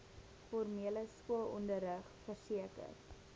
formele skoolonderrig verseker